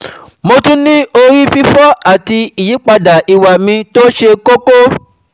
Mo tún n ní ori fifo àti ìyípadà ìwà mi tó ṣe kókó